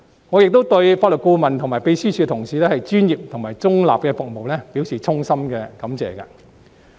我亦對法律顧問和秘書處同事專業及中立的服務，表示衷心感謝。